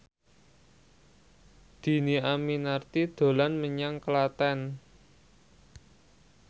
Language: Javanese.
Dhini Aminarti dolan menyang Klaten